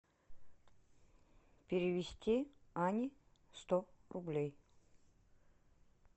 перевести ане сто рублей